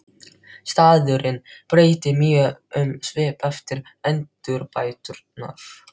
Staðurinn breytti mjög um svip eftir endurbæturnar.